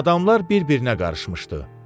Adamlar bir-birinə qarışmışdı.